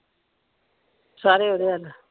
ਸਾਰੇ ਓਹਦੇ ਵੱਲ ।